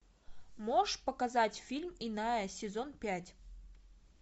можешь показать фильм иная сезон пять